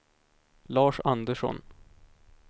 Lars Andersson